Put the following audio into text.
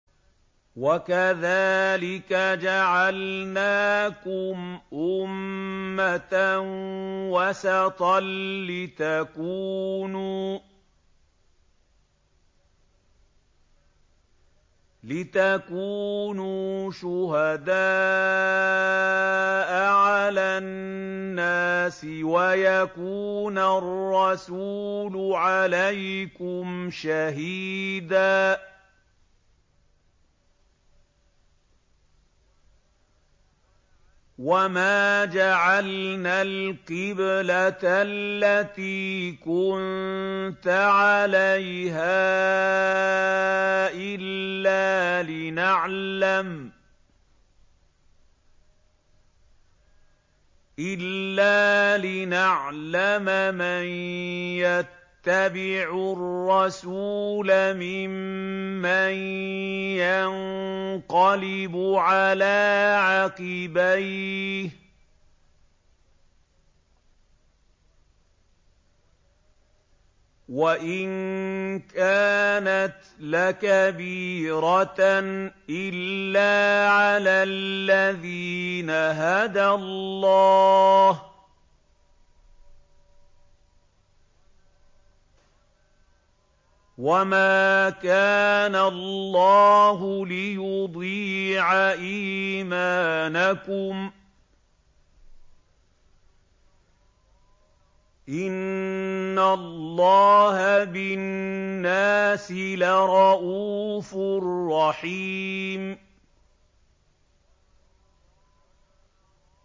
وَكَذَٰلِكَ جَعَلْنَاكُمْ أُمَّةً وَسَطًا لِّتَكُونُوا شُهَدَاءَ عَلَى النَّاسِ وَيَكُونَ الرَّسُولُ عَلَيْكُمْ شَهِيدًا ۗ وَمَا جَعَلْنَا الْقِبْلَةَ الَّتِي كُنتَ عَلَيْهَا إِلَّا لِنَعْلَمَ مَن يَتَّبِعُ الرَّسُولَ مِمَّن يَنقَلِبُ عَلَىٰ عَقِبَيْهِ ۚ وَإِن كَانَتْ لَكَبِيرَةً إِلَّا عَلَى الَّذِينَ هَدَى اللَّهُ ۗ وَمَا كَانَ اللَّهُ لِيُضِيعَ إِيمَانَكُمْ ۚ إِنَّ اللَّهَ بِالنَّاسِ لَرَءُوفٌ رَّحِيمٌ